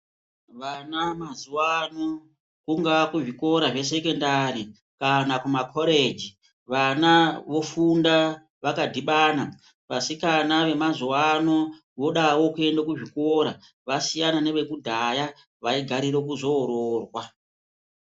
Vana mazuvaano kungaa kuzvikora zvesekendari kana kumakoreji vana vofunda vakadhibana vasikana vemazuvaano vodawo kuenda kuzvikora vasiyana nevekudhaya vagarira kuzo oroorwa.